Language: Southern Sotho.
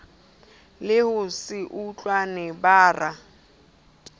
le ho se utlwane bara